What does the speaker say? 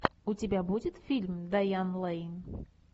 у тебя будет фильм дайан лэйн